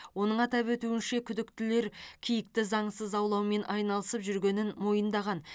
оның атап өтуінше күдіктілер киікті заңсыз аулаумен айналысып жүргенін мойындаған